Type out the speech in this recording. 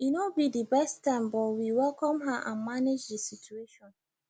e no be the best time but we welcome her and manage the situation